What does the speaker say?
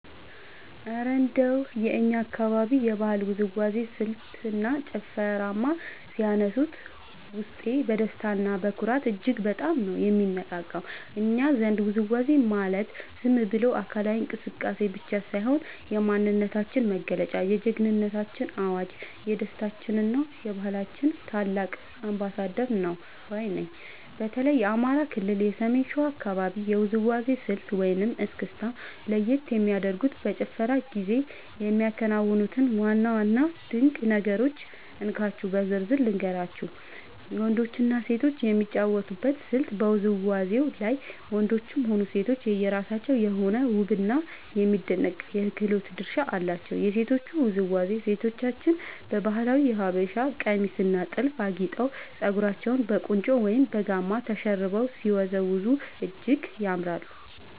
እረ እንደው የእኛን አካባቢ የባህላዊ ውዝዋዜ ስልትና ጭፈርማ ሲያነሱት፣ ውስጤ በደስታና በኩራት እጅግ በጣም ነው የሚነቃቃው! እኛ ዘንድ ውዝዋዜ ማለት ዝም ብሎ አካላዊ እንቅስቃሴ ብቻ ሳይሆን፣ የማንነታችን መገለጫ፣ የጀግንነታችን አዋጅ፣ የደስታችንና የባህላችን ታላቅ አምባሳደር ነው ባይ ነኝ። በተለይ የአማራ ክልል የሰሜን ሸዋ አካባቢን የውዝዋዜ ስልት (እስክስታ) ለየት የሚያደርጉትንና በጭፈራው ጊዜ የሚከናወኑትን ዋና ዋና ድንቅ ነገሮች እንካችሁ በዝርዝር ልንገራችሁ፦ . ወንዶችና ሴቶች የሚጫወቱበት ስልት በውዝዋዜው ላይ ወንዶችም ሆኑ ሴቶች የየራሳቸው የሆነ ውብና የሚደነቅ የክህሎት ድርሻ አላቸው። የሴቶቹ ውዝዋዜ፦ ሴቶቻችን በባህላዊው የሀበሻ ቀሚስና ጥልፍ አጊጠው፣ ፀጉራቸውን በቁንጮ ወይም በጋማ ተሸርበው ሲወዝወዙ እጅግ ያምራሉ።